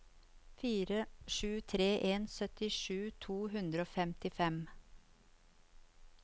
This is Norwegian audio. fire sju tre en syttisju to hundre og femtifem